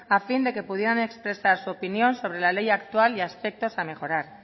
a fin de que puedan expresar su opinión sobre la ley actual y aspectos a mejorar